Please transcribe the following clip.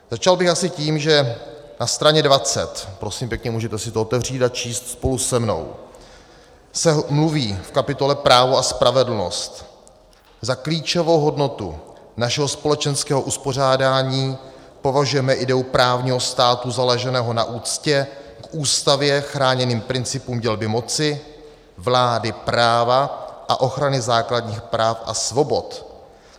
Začal bych asi tím, že na straně 20, prosím pěkně, můžete si to otevřít a číst spolu se mnou, se mluví v kapitole Právo a spravedlnost: "Za klíčovou hodnotu našeho společenského uspořádání považujeme ideu právního státu založeného na úctě k ústavně chráněným principům dělby moci, vlády práva a ochrany základních práv a svobod.